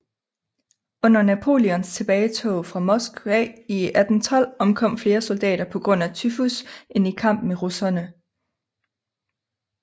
Under Napoleons tilbagetog fra Moskva i 1812 omkom flere soldater pga tyfus end i kamp med russerne